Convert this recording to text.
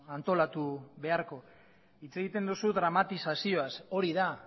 antolatu beharko hitz egiten duzu dramatizazioaz hori da